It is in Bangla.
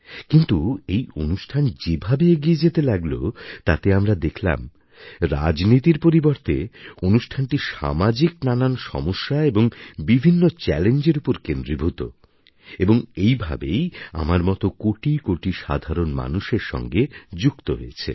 কিন্তু এই অনুষ্ঠান যেভাবে এগিয়ে যেতে লাগল তাতে আমরা দেখলাম রাজনীতির পরিবর্তে অনুষ্ঠানটি সামাজিক নানান সমস্যা এবং বিভিন্ন চ্যালেঞ্জের উপর কেন্দ্রীভূত এবং এই ভাবেই আমার মতন কোটি কোটি সাধারণ মানুষের সঙ্গে যুক্ত হয়েছে